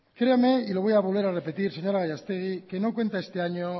creame y lo voy a volver a repetir señora gallastegui que no cuenta este año